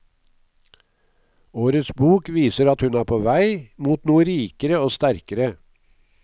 Årets bok viser at hun er på vei, mot noe rikere og sterkere.